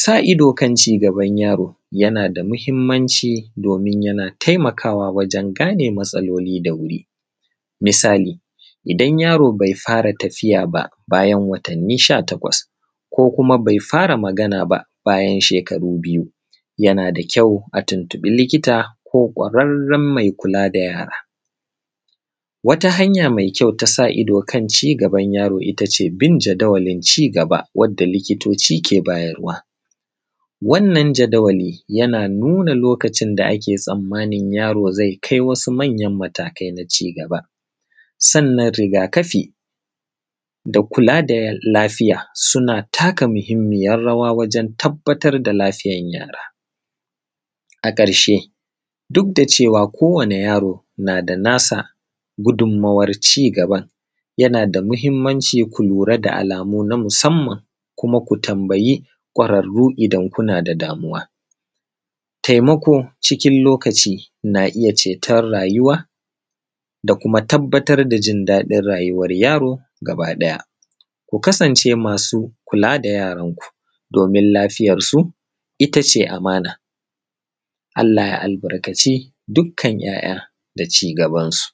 Sa ido kan ci gaban yaro, yana da muhimmanci domin yana taimakawa wajen gane matsaloli da wuri. Misali, idan yaro bai fara tafiya ba bayan watanni sha takwas, ko kuma bai fara magana ba bayan shekaru biyu, yana da kyau a tuntuɓi likita ko ƙwararren mai kula da yara. Wata hanya mai kyau ta sa ido kan ci gaban yaro ita ce bin jadawalin ci gaba wanda likitoci ke bayarwa. Wannan jadawali yana nuna lokacin da ake tsammani yaro zai kai wasu manyan matakai na ci gaba. Sannan riga-kafi da kula da lafiya, suna taka muhimmiyar rawa wajen tabbatar da lafiyar yara. A ƙarshe, duk da cewa kowane yaro na da nasa gudummawar ci gaban, yana da muhimmanci ku lura da alamu na musamman, kuma ku tambayi ƙwararru idan kuna da damuwa. Taimako, cikin lokaci na iya ceton rayuwa, da kuma tabbatar a jin daɗin rayuwar yaro gabaɗaya. Ku kasance masu kula da yaranku, domin lafiyarsu ita ce amana. Allah ya albarkaci dukkan 'ya'ya da ci gabansu.